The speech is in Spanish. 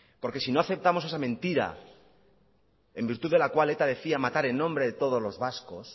porque si no aceptamos esa mentira en virtud de la cual eta decía matar en nombre de todos los vascos